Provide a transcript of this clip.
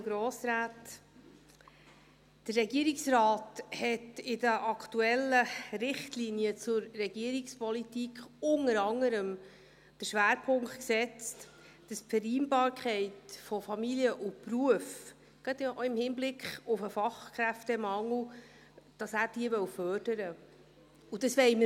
Der Regierungsrat hat in den aktuellen Richtlinien zur Regierungspolitik unter anderem den Schwerpunkt gesetzt, dass er die Vereinbarkeit von Familie und Beruf, gerade auch in Hinblick auf den Fachkräftemangel, fördern wolle, und das wollen wir tun.